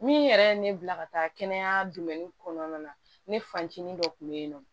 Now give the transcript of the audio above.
Min yɛrɛ ye ne bila ka taa kɛnɛya kɔnɔna na ne fancinin dɔ kun bɛ yen nɔ